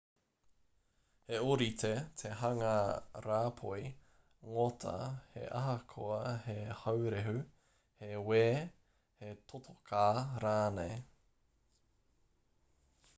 he ōrite te hanga rāpoi ngota he ahakoa he haurehu he wē he totoka rānei